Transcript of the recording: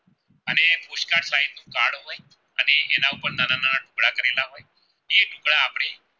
તો આપણે